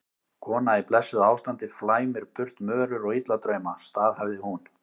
Kona í blessuðu ástandi flæmir burt mörur og illa drauma, staðhæfði hún.